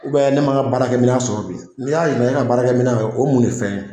U bɛn ne ma n ka baarakɛ mina sɔrɔ bi ni y'a ɲininka e ka baarakɛ mina o ye mun de fɛn ye